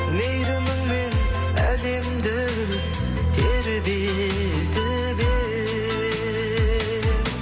мейіріміңмен әлемді тербетіп ең